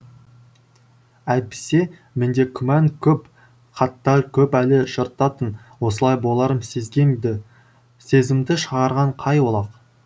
әйтпесе менде күмән көп хаттар көп әлі жыртатын осылай боларын сезгем ді сезімді шығарған қай олақ